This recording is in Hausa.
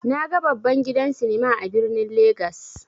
Naga babban gidan sinima a birnin legas.